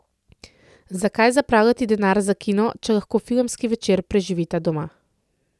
Zakaj zapravljati denar za kino, če lahko filmski večer preživita doma?